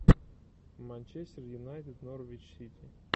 манчестер юнайтед норвич сити